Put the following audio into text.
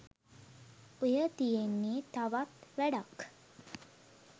ඔය තියෙන්නේ තවත් වැඩක්.